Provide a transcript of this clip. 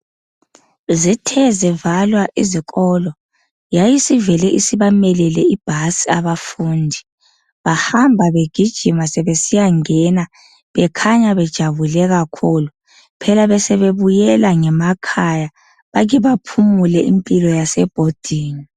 Zithe zivalwa izikolo yayivele isibamelele ibhasi abafundi. Bahamba begijima sebesiyangena bekhanya bejabule kakhulu. Phela besebebuyela ngemakhaya bake baphumule impilo yasebhodingi.